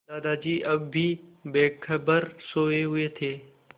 दादाजी अब भी बेखबर सोये हुए थे